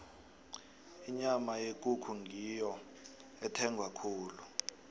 inyama yekukhu ngiyo ethengwa khulu